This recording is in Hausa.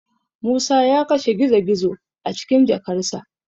Musa ya kashe gizo-gizo a cikin jakarsa.